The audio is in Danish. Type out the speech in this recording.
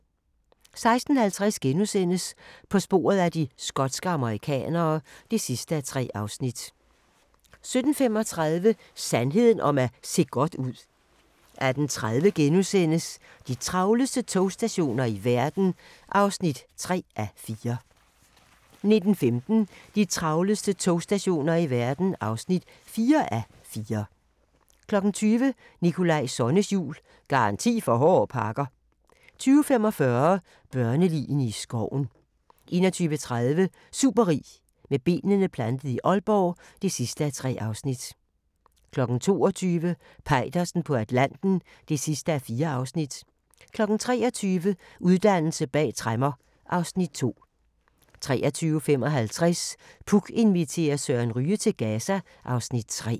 16:50: På sporet af de skotske amerikanere (3:3)* 17:35: Sandheden om at se godt ud 18:30: De travleste togstationer i verden (3:4)* 19:15: De travleste togstationer i verden (4:4) 20:00: Nikolaj Sonnes jul - garanti for hårde pakker 20:45: Børneligene i skoven 21:30: Superrig med benene plantet i Aalborg (3:3) 22:00: Peitersen på Atlanten (4:4) 23:00: Uddannelse bag tremmer (Afs. 2) 23:55: Puk inviterer Søren Ryge til Gaza (Afs. 3)